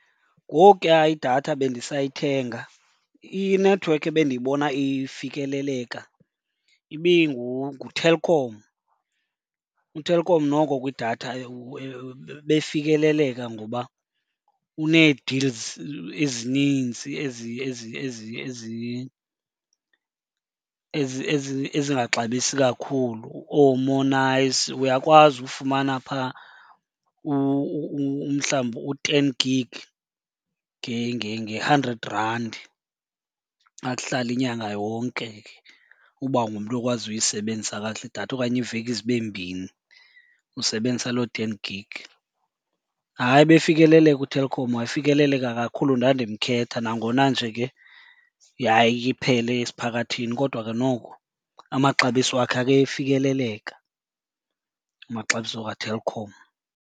Ngokuya idatha bendisayithenga inethiwekhi ebendiyibona ifikeleleka nguTelkom. UTelkom noko kwidatha ebefikeleleka ngoba unee-deals ezinintsi ezingaxabisi kakhulu ooMo'Nice. Uyakwazi ufumana phaa umhlawumbi u-ten gig nge-hundred rand, akuhlale inyanga yonke ke uba ungumntu okwaziyo uyisebenzisa kakuhle idatha okanye iiveki zibe mbini, usebenzisa loo ten gig. Hayi, ebefikeleleka uTelkom, wayefikeleleka kakhulu. Ndandimkhetha nangona nje ke yayiye iphele esiphakathini kodwa ke noko amaxabiso wakhe akefikeleleka, amaxabiso kaTelkom.